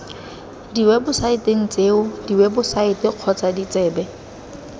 diwebosaeteng tseo diwebosaete kgotsa ditsebe